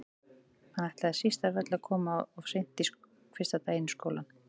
Hann ætlaði síst af öllu að koma of seint fyrsta daginn í skólanum.